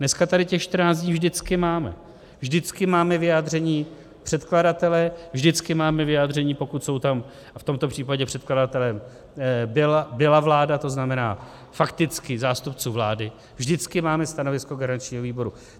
Dneska tady těch 14 dní vždycky máme, vždycky máme vyjádření předkladatele, vždycky máme vyjádření, pokud jsou tam, a v tomto případě předkladatelem byla vláda, to znamená fakticky zástupců vlády, vždycky máme stanovisko garančního výboru.